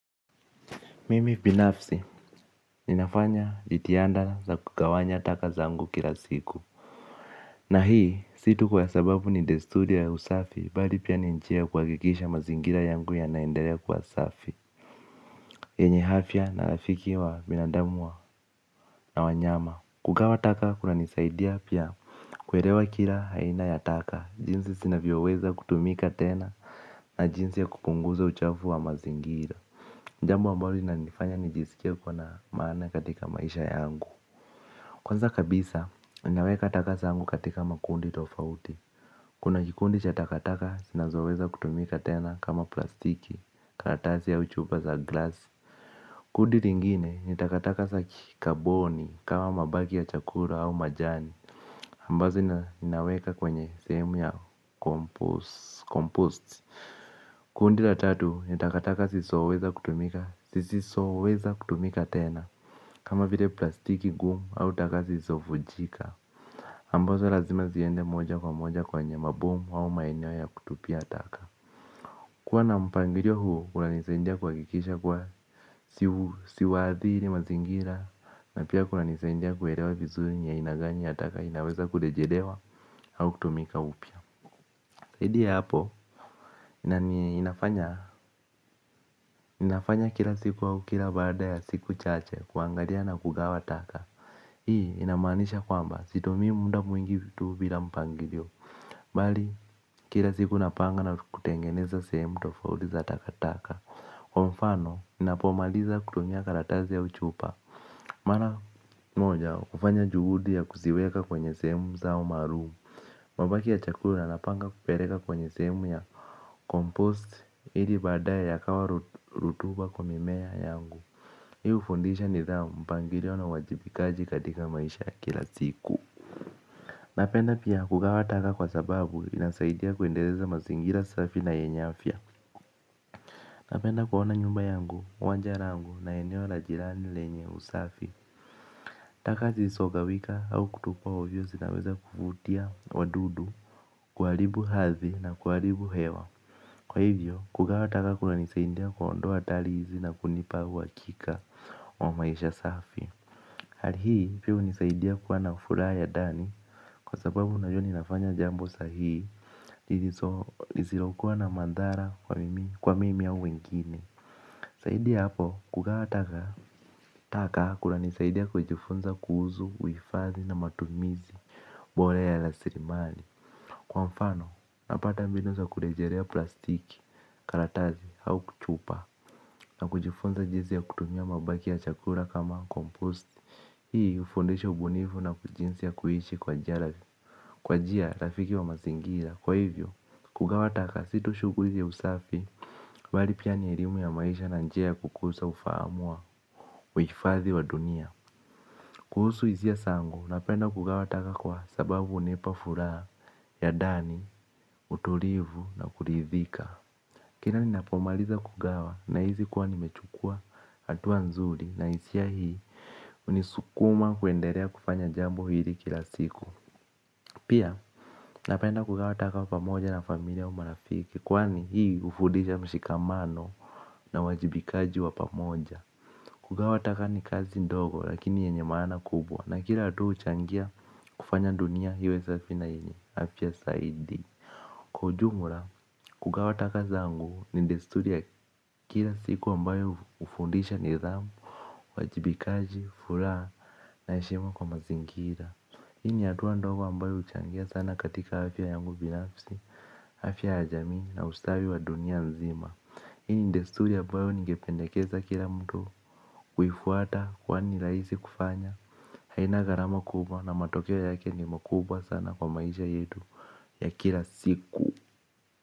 Mimi binafsi, ninafanya jitihada za kugawanya taka zangu kila siku. Na hii, si tu kwa sababu ni desturi ya usafi, bali pia ni njia ya kuhakikisha mazingira yangu yanaendelea kuwa safi. Yenye afya na rafiki wa binadamu na wanyama. Kugawa taka, kunanisaidia pia kuelewa kila aina ya taka, jinsi zinavyoweza kutumika tena na jinsi ya kupunguza uchafu wa mazingira. Jambo ambalo linanifanya nijisikie kuwa na maana katika maisha yangu. Kwanza kabisa, ninaweka taka zangu katika makundi tofauti. Kuna kikundi cha takataka, zinazoweza kutumika tena kama plastiki, karatasi au chupa za glass. Kundi lingine, ni takataka za kikaboni kama mabaki ya chakula au majani ambazo ninaweka kwenye sehemu ya compost. Kundi la tatu, ni takataka zisizoweza kutumika tena. Kama vile plastiki ngumu au taka zisizo vunjika ambazo lazima ziende moja kwa moja kwenye maboma au maeneo ya kutupia taka. Kuwa na mpangilio huu kunanisaidia kuhakikisha kuwa siwaathiri mazingira. Na pia kunanisaidia kuelewa vizuri ni aina gani ya taka inaweza kurejelewa au kutumika upya. Zaidi ya hapo. Ninafanya kila siku au kila baada ya siku chache kuangalia na kugawa taka. Hii inamaanisha kwamba situmii muda mwingi tu bila mpangilio. Bali kila siku napanga na kutengeneza sehemu tofauti za takataka. Kwa mfano ninapomaliza kutumia karatasi au chupa, mara moja hufanya juhudi ya kuziweka kwenye sehemu zao maru. Mabaki ya chakula napanga kupeleka kwenye sehemu ya compost ili baadaye yakawa rutuba kwa mimea yangu. Hii hufundisha nidhamu, mpangilio na uwajibikaji katika maisha ya kila siku. Napenda pia kugawa taka kwa sababu inasaidia kuendeleza mazingira safi na yenye afya. Napenda kuona nyumba yangu, wanja langu na eneo la jirani lenye usafi. Taka zisizo gawika au kutupwa ovyo zinaweza kuvutia wadudu, kuharibu hadhi na kuharibu hewa. Kwa hivyo kugawa taka kunanisaidia kuondoa hatari hizi na kunipa uhakika wa maisha safi. Hali hii pia hunisaidia kuwa na furaha ya ndani, kwa sababu najua ninafanya jambo sahihi lisilokuwa na madhara kwa mimi au wengine. Zaidi ya hapo kugawa taka, taka kunanisaidia kujifunza kuhusu, uhifadhi na matumizi bora ya rasilimali. Kwa mfano napata mbinu za kulejerea plastiki, karatasi au chupa. Na kujifunza jinsi ya kutumia mabaki ya chakula kama kompost. Hii hufundisha ubunifu na jinsi ya kuishi kwa njia rafiki wa mazingira. Kwa hivyo kugawa taka si tu shughuli ya usafi bali pia ni elimu ya maisha na njia ya kukuza ufahamu wangu. Uhifadhi wa dunia. Kuhusu hisia zangu napenda kugawa taka kwa sababu hunipa furaha ya ndani, utulivu na kuridhika. Kila ninapomaliza kugawa nahisi kuwa nimechukua hatua nzuri na hisia hii hunisukuma kuendelea kufanya jambo hili kila siku. Pia napenda kugawa taka pamoja na familia au marafiki kwani hii hufudisha mshikamano na uwajibikaji wa pamoja. Kugawa taka ni kazi ndogo lakini yenye maana kubwa na kila hatua huchangia kufanya dunia iwe safi na yenye afya zaidi. Kwa ujumla, kugawa taka zangu ni desturi ya kila siku ambayo hufundisha nidhamu, uwajibikaji, furaha na heshima kwa mazingira. Hii ni hatua ndogo ambayo huchangia sana katika afya yangu binafsi, afya ya jamii na ustawi wa dunia nzima. Hii ni desturi ambayo ningependekeza kila mtu kufuata kwani ni rahisi kufanya, haina gharama kubwa na matokeo yake ni makubwa sana kwa maisha yetu ya kila siku.